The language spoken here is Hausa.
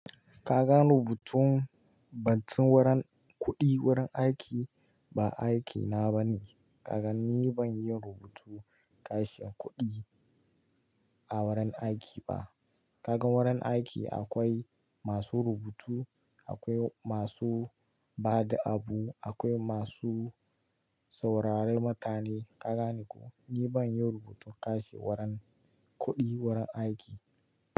Ka ga rubutun bancin wurin kuɗi wurin aiki ba aiki na ba ne. Ka gani ban iyi rubutun ƙashin kuɗi a wurin aiki ba. Ka gan wurin aiki akwai masu rubutu, akwai masu ba da abu, akwai masu sauraren mutane. Ka gane ko? Ni ban yi rubutun ƙashin wurin kuɗi wurin aiki.